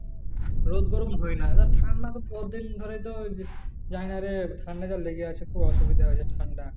রোদ গরম হয় না তা ঠান্ডা তো তোদের ঘরে তো ওই যাইনারে ঠান্ডা যে লেগে আছে কুয়াশাটা খুব অসুবিধা হয় যে ঠান্ডা